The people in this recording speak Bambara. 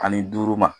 Ani duuru ma